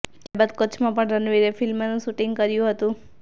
ત્યાર બાદ કચ્છમાં પણ રણવીરે ફિલ્મનું શુટિંગ કર્યું હતું